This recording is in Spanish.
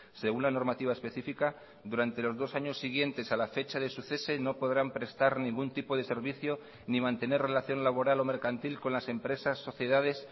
según la normativa específica durante los dos años siguientes a la fecha de su cese no podrán prestar ningún tipo de servicio ni mantener relación laboral o mercantil con las empresas sociedades